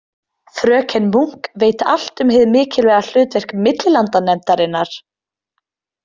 Fröken Munk veit allt um hið mikilvæga hlutverk millilandanefndarinnar.